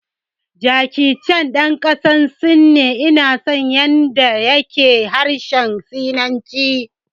Jackie Chan ɗan ƙasar Sin ne, ina son yanda ya ke harshen sinanci